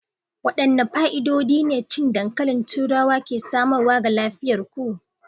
Wadanne fa'idodi ne cin dankalin turawa ke samarwa ga lafiyar ku?